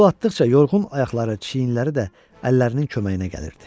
Əl-qol atdıqca yorğun ayaqları, çiyinləri də əllərinin köməyinə gəlirdi.